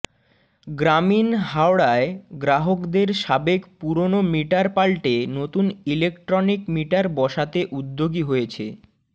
গ্রামীণ হাওড়ায় গ্রাহকদের সাবেক পুরনো মিটার পাল্টে নতুন ইলেকট্রনিক মিটার বসাতে উদ্যোগী হয়েছে